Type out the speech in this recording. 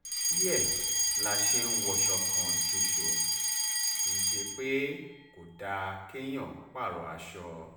nítorí ẹ̀ la ṣe ń wọṣọ kan ṣoṣo kì í ṣe pé kò dáa kéèyàn pààrọ̀ aṣọ